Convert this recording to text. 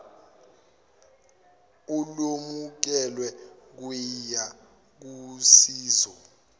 olwemukelwe kuyia kusizo